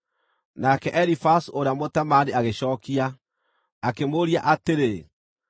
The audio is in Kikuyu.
Nake Elifazu ũrĩa Mũtemaani agĩcookia, akĩmũũria atĩrĩ: